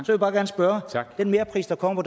jeg bare spørge den merpris der kommer